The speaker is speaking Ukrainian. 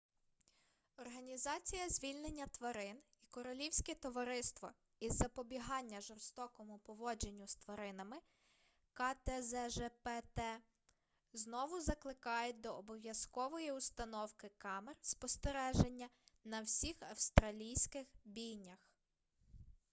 організація звільнення тварин і королівське товариство із запобігання жорстокому поводженню з тваринами ктзжпт знову закликають до обов'язкової установки камер спостереження на всіх австралійських бійнях